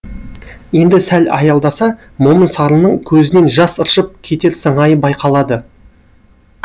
енді сәл аялдаса момын сарының көзінен жас ыршып кетер сыңайы байқалады